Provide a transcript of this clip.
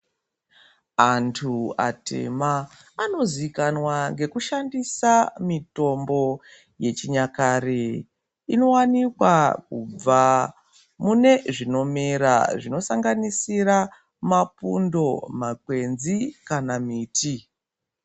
Antu atema anozikanwa ngekushandisa mitombo yechinyakare inowanikwa kubva mune zvinomera zvinosanganisira mapundo ,makwenzi kana miti.